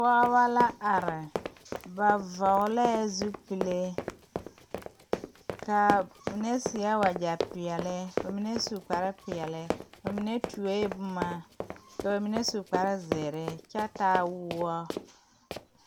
pɔɔbɔ la are ba vɔglɛɛ zupile kaa mine seɛɛ wagyɛ peɛle ka mine su kpare peɛle ba mine tuoee boma ba mine su kpare zeere kyɛ taa woɔ.